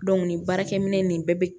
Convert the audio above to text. nin baarakɛ minɛ nin bɛɛ bɛ